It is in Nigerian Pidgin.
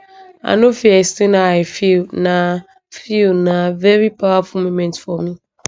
i no fit explain how i feel na feel na veri powerful moment for me